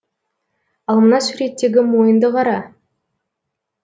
ал мына суреттегі мойынды қара